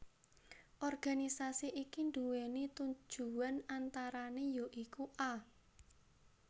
Organisasi iki nduwèni tujuwan antarané ya iku a